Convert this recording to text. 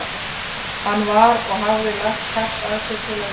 Hann var- og hafði lagt hart að sér til að verða það